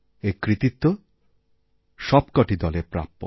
এর কৃতিত্ব সবকটি দলের প্রাপ্য